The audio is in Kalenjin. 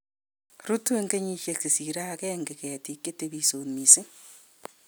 rutu eng kenyisiek che sirei agenge ketik che tebisot mising